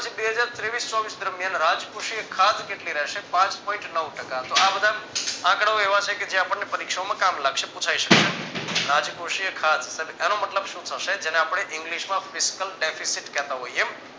બે હજાર તેવીસ ચોવીસ દરમિયાન રાજકોષીય ખાદ્ય કેટલી રહેશે પાંચ point નવ ટકા તો આ બધા આંકડાઓ એવા છે કે જે આપણને પરીક્ષામાં કામ લાગશે પુછાય શકે. રાજકોષીય ખાદ્ય એનો મતલબ શું થશે જેને આપણે english માં Fiscal deficit કેહતા હોઈએ